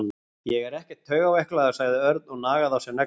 Ég er ekkert taugaveiklaður sagði Örn og nagaði á sér neglurnar.